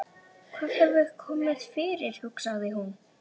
Hvað hefur komið fyrir, hugsaði hún.